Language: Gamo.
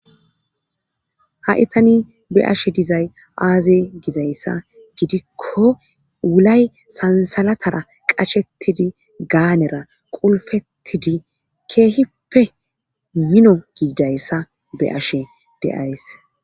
ha7i tani be7ashe dizay aaze gizayssa gidikko wulay sansalatara qashettidi gaanera qulfettidi keehippe mino giidayssa be7ashe de7ays.